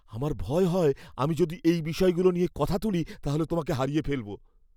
আমার ভয় হয় আমি যদি এই বিষয়গুলো নিয়ে কথা তুলি তাহলে তোমাকে হারিয়ে ফেলব।